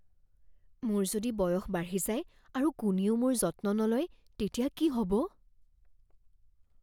মোৰ যদি বয়স বাঢ়ি যায় আৰু কোনেও মোৰ যত্ন নলয় তেতিয়া কি হ'ব?